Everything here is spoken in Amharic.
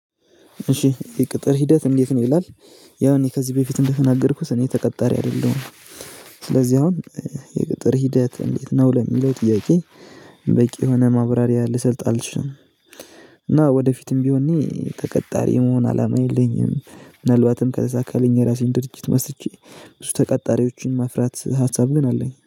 እሺ የቅጥር ሂውት እንደት ነው ይላል? ያው እኔ ከዚ በፊት እንደተናገርኩት እኔ ተቀታሪ አይደለሁም። የቅጥር ሂወት እንደት ነው ለሚለው ጥያቄ በቂ የሆነ ማብራሪያ ልሰጥ አልችልም። እና ወደፊትም ቢሆን እኔ ተቀጣሪ የመሆነ አላማ የለኝም። ምናልባትም ከዛ የራሰን ድርጅት መስርቼ ብዙ ተቀጣሪዎችን ማፍራት ሀሳብ ኝ አለንኝ